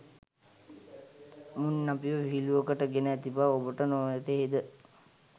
මුන් අපිව විහිළුවකට ගෙන ඇති බව ඔබට නොවැටහේද?